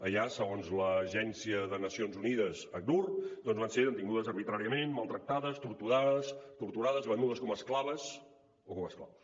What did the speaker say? allà segons l’agència de nacions unides acnur van ser detingudes arbitràriament maltractades torturades venudes com a esclaves o com a esclaus